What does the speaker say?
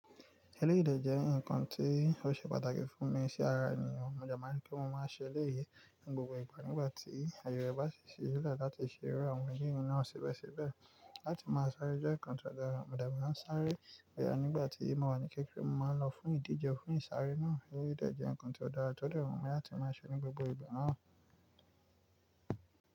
Eléyìí jẹ́ nǹkan tí ó ṣe pàtàkì fún mi sí ara ènìyàn. Mo dẹ ma ní kí mo máa ṣe eléyìí ní gbogbo ìgbà nígbà tí àyè rẹ bá sì ṣẹ́lẹ̀ láti ṣe rí àwọn eléyìí náà ṣẹbẹṣẹbẹ̀. Láti máa sáré jẹ́ nǹkan tó dára, mo dẹ̀ máa ń sáré iyẹn nígbà tí mo wà ní kékeré mo máa ń lọ fún ìdíje fún ìsáré náà. Eléyìí dẹ̀ jẹ́ nǹkan tí ó dára tó dẹ́ wùnmi láti máa ṣe ní gbogbo ìgbà náà.